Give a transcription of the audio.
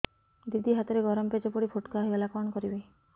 ଦିଦି ହାତରେ ଗରମ ପେଜ ପଡି ଫୋଟକା ହୋଇଗଲା କଣ କରିବି